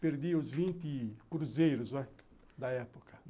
Perdi os vinte cruzeiros da época.